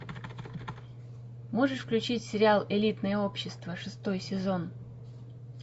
можешь включить сериал элитное общество шестой сезон